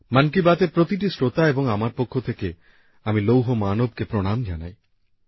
মন কি বাত এর প্রতিটি শ্রোতা এবং আমার পক্ষ থেকে আমি লৌহ মানবকে প্রণাম জানাই